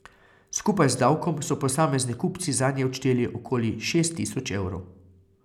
Skupaj z davkom so posamezni kupci zanje odšteli okoli šest tisoč evrov.